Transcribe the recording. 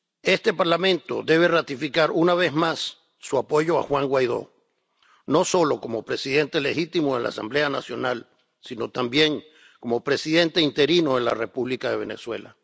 Este Parlamento debe ratificar, una vez más, su apoyo a Juan Guaidó, no solo como presidente legítimo en la Asamblea Nacional sino también como presidente interino en la República de Venezuela.